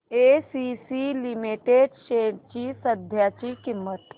ACC limited shares ची सध्याची किंमत